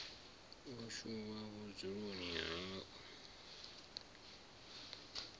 o tshuwa vhudzuloni ha u